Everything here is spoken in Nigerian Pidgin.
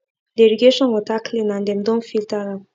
the irrigation water clean and dem don filter am